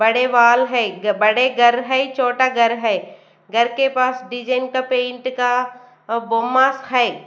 बड़े वाल है बड़े घर हैं छोटा घर हैं घर के पास डिजाइन का पेंट का अ भोमांस है।